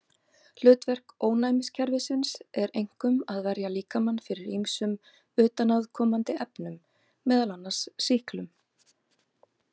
Hlutverk ónæmiskerfisins er einkum að verja líkamann fyrir ýmsum utanaðkomandi efnum, meðal annars sýklum.